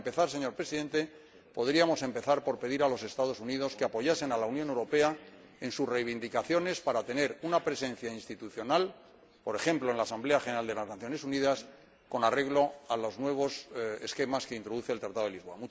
Para empezar, señor Presidente, podríamos empezar por pedir a los Estados Unidos que apoyen a la Unión Europea en sus reivindicaciones para tener una presencia institucional, por ejemplo en la Asamblea General de las Naciones Unidas, con arreglo a los nuevos esquemas que introduce el Tratado de Lisboa.